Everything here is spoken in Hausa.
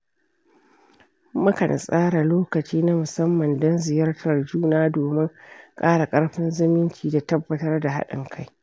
Mukan tsara lokaci na musamman don ziyartar juna domin ƙara ƙarfin zumunci da tabbatar da haɗin ka.